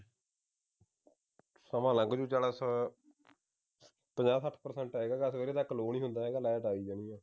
ਸਮਾਂ ਲੰਘ ਜਾਊ ਪੰਜਾਹ ਸੱਠ percent ਹੈਗਾ ਸਵੇਰੇ ਤਕ low ਨਹੀਂ ਹੁੰਦਾ ਹੈਗਾ light ਆ ਹੀ ਜਾਣੀ ਹੈ